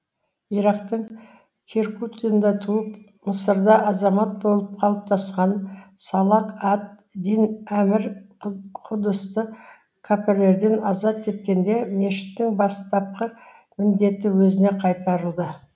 ирактың киркугында туып мысырда азамат болып қалыптасқан салах әд дин әмір құдысты кәпірлерден азат еткенде мешіттің бастапқы міндеті өзіне қайтарылды